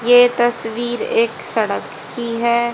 ये तस्वीर एक सड़क की है।